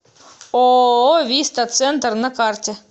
ооо виста центр на карте